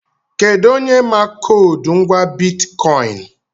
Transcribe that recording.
Kedụ onye ma koodu ngwá bitkọịn?